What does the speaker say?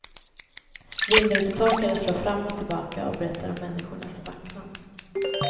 Vindrutetorkare slår fram och tillbaka och berättar om människornas vacklan.